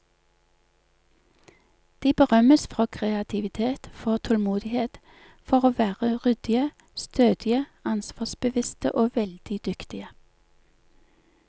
De berømmes for kreativitet, for tålmodighet, for å være ryddige, stødige, ansvarsbevisste og veldig dyktige.